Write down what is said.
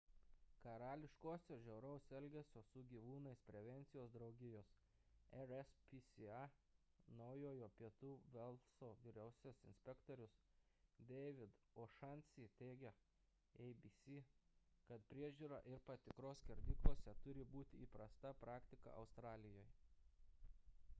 karališkosios žiauraus elgesio su gyvūnais prevencijos draugijos rspca naujojo pietų velso vyriausiasis inspektorius david o'shannessy teigė abc kad priežiūra ir patikros skerdyklose turi būti įprasta praktika australijoje